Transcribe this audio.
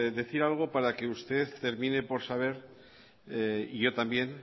decir algo para que usted termine por saber y yo también